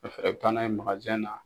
Ɛf ka taa na ye na.